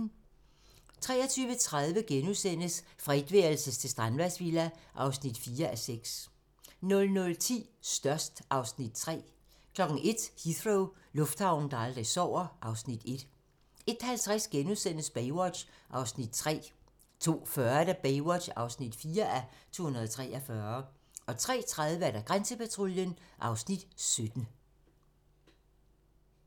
23:30: Fra etværelses til strandvejsvilla (4:6)* 00:10: Størst (Afs. 3) 01:00: Heathrow - lufthavnen, der aldrig sover (Afs. 1) 01:50: Baywatch (3:243)* 02:40: Baywatch (4:243) 03:30: Grænsepatruljen (Afs. 17)